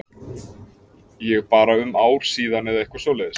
Ég bara um ár síðan eða eitthvað svoleiðis?